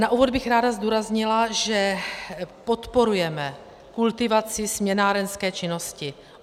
Na úvod bych ráda zdůraznila, že podporujeme kultivaci směnárenské činnosti.